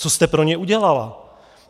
Co jste pro ně udělala?